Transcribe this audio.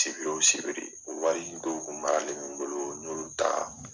Sibiri wo sibiri u wariko kun b'ale min bolo n'olu talaa.